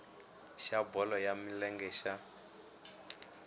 xa bolo ya milenge xa